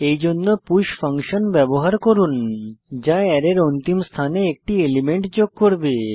এইজন্য push function ব্যবহার করুন যা অ্যারের অন্তিম স্থানে একটি এলিমেন্ট যোগ করবে